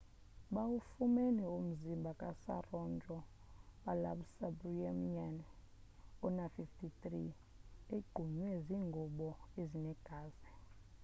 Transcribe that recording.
bawufumene umzimbha ka saroja balasubramanian ona-53 egqunywe ziingubo ezinegazi